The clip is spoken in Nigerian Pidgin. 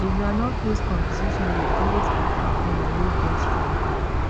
the groundnut paste competition dey always attract women wey get strong hand